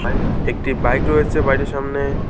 একটি বাইক রয়েছে বাড়িটির সামনে।